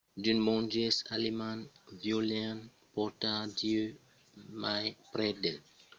d'unes monges alemands volián portar dieu mai prèp del pòble autoctòn alara inventèron la lenga literala estoniana